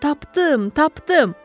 Tapdım, tapdım!